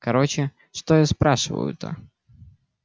короче что я спрашиваю-то